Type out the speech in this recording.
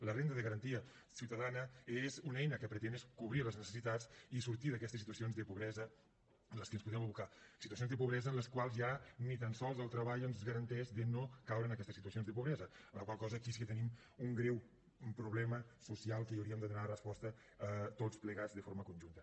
la renda de garantia ciutadania és una eina que pretén cobrir les necessitats i sortir d’aquestes situacions de pobresa en les que ens podem abocar situacions de pobresa en les quals ja ni tan sols el treball ens garanteix de no caure en aquestes situacions de pobresa amb la qual cosa aquí sí que tenim un greu problema social que hi hauríem de donar resposta tots plegats de forma conjunta